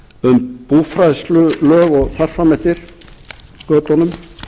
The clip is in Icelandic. um búfræðslulög og þar fram eftir götunum